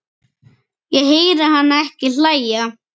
Ég heyri hana ekki hlæja